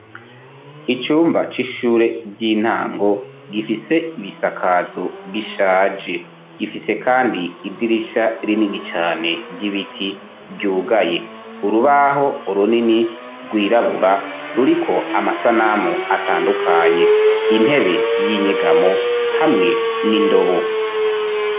Icumba c'ishure ry'intango gifise ibisakazo bishaje, gifise kandi idirisha rinini cane ryibiti ryugaye, urubaho runini rwirabura ruriko amasanamu atandukanye intebe y'inyegamo hamwe n'indobo.